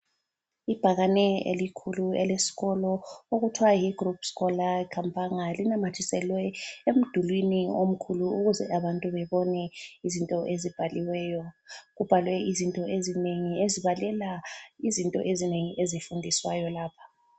Ibhakane elikhulu elesikolo okuthwa yi Group Scolaire Kampanga linamathiselwe emdulwini omkhulu ukuze abantu bebone izinto ezibhaliweyo. Kubhalwe izinto ezinengi ezibalela izinto ezinengi ezifundiswayo lapha.